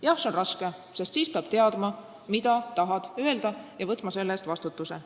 Jah, see on raske, sest siis peab teadma, mida tahad öelda, ja võtma selle eest vastutuse.